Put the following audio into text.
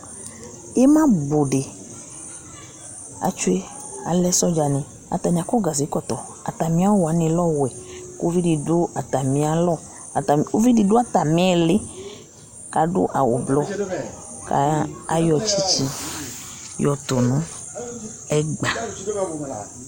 ima bu di atsue alɛ sɔdza ni atani akɔ gaze kɔtɔ atami awu wani lɛ ɔwɛ kò uvi di du atami alɔ atami uvi di do atami ili k'adu awu blu k'ayɔ tsitsi yɔ to no ɛgba